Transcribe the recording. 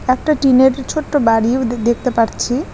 একটা টিনের ছোট্ট বাড়িও দেখতে পারছি।